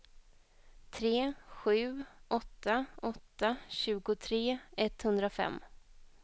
tre sju åtta åtta tjugotre etthundrafem